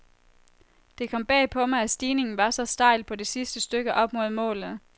Det kom bag på mig, at stigningen var så stejl på det sidste stykke op mod målet.